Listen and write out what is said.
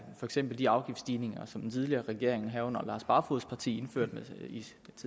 for eksempel de afgiftsstigninger som den tidligere regering herunder lars barfoeds parti indførte